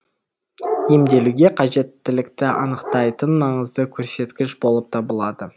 емделуге қажеттілікті анықтайтын маңызды көрсеткіш болып табылады